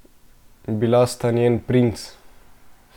Bila sta njen princ!